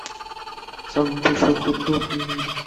самый большой хот дог в мире